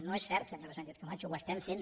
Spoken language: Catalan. no és cert senyora sánchez camacho ho estem fent